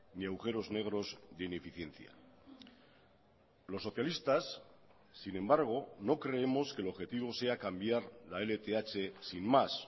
ni agujeros negros de ineficiencia los socialistas sin embargo no creemos que el objetivo sea cambiar la lth sin más